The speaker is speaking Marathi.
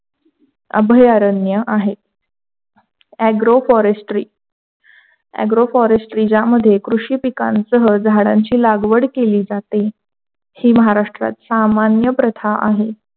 अभयारण्य आहेत. Agro forestry. agro forestry यामध्ये कृषी पिकांसह झाडांची लागवड केली जाते. ही महाराष्ट्र सामान्य प्रथा आहे.